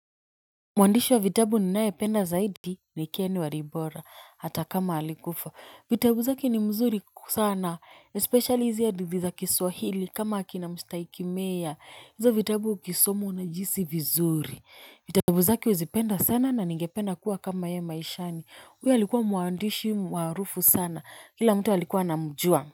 Mwandishi wa vitabu ninayependa zaidi ni Ken Walibora hata kama alikufa. Vitabu zake ni mzuri sana. Especially izi hadithi za kiswahili kama akina mstahiki meya. Hizo vitabu ukisoma unajihisi vizuri. Vitabu zake huzipenda sana na ningependa kuwa kama ye maishani. Huyu alikuwa mwandishi maarufu sana. Kila mtu alikuwa anamjua.